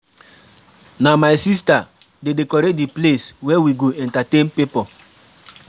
Na my sista dey decorate di place where we go entertain pipo.